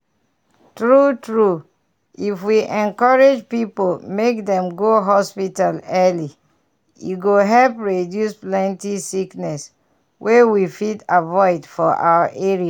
true true if we encourage people make dem go hospital early e go help reduce plenty sickness wey we fit avoid for our area.